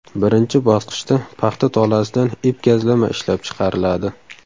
Birinchi bosqichda paxta tolasidan ip-gazlama ishlab chiqariladi.